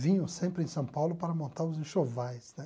vinham sempre em São Paulo para montar os enxovais né.